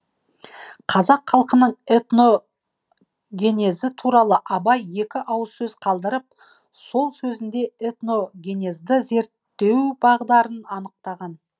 қазақ халқының этногенезі туралы абай екі ауыз сөз қалдырып сол сөзінде этногенезді зерттеу бағдарын анықтаған